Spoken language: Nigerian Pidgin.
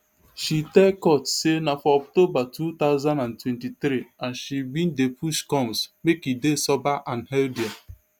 she tell court say na for october two thousand and twenty-three and she bin dey push combs make e dey sober and healthier